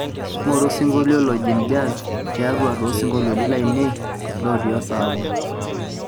ngoru osinkolio lojin jazz tiatua sinkoliotin lainei looti oosabu